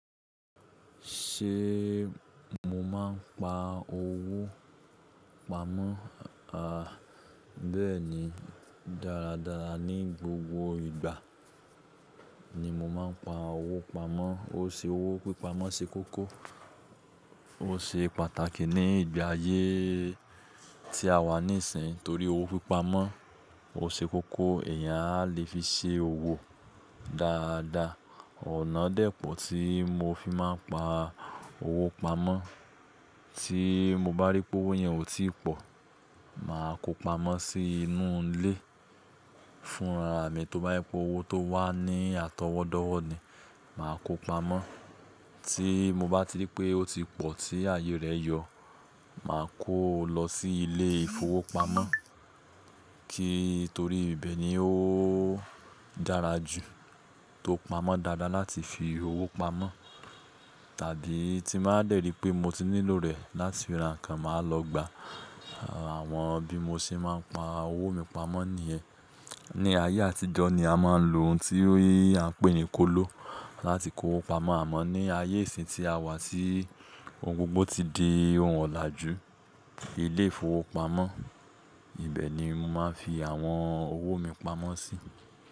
Ṣé mo máa ń pa owó pamọ́? À, bẹ́ẹ̀ni. Dáradára ní gbogbo ìgbà ni mo máa ń pa owó pamọ́. Ó ṣe owó pípa mọ́ ṣe kókó, ó ṣe pàtàkì ní ìgbà ayé tí a wà níìsín torí owó pípa mọ́ ọ ṣe kókó èèyàn a le fi ṣe òwò dáadáa. Ọ̀nà dẹ́pọ̀ tí mo fi máa ń pa owó pamọ́, tí mo bá rí pé owó yẹn ò tí pọ̀, màá kó pamọ́ sí inú ilé fúnra mi. Tí ó bá yipo owó tó wà ní àtọwọ́dọ́wọ́ ni màá kó pamọ́. Tí mo bá ti rí pé ó ti pọ̀ tí ayé rẹ̀ yọ̀, màá kó o lọ sí ilé ìfowópamọ́ kí torí ibẹ̀ ni ó dára jù tó pamọ́ dáadáa láti fi owó pamọ́. Tàbí tí màá dẹ̀ rí pé mo ti nílò rẹ̀ láti ra nǹkan, màá lọ gba. Àwọn bí mo ṣe máa ń pa owó mi pamọ́ nìyẹn. Ni ayé àtijọ́ ni a máa ń lo ohun tí a ń pè ní kóló láti kó owó pamọ́ àmọ́ ní ayé ìsìn tí a wà tí ohun gbogbo ti di òǹwà làjú, ilé ìfowópamọ́, ibẹ̀ ni mo máa ń fi àwọn owó mi pamọ́ sí.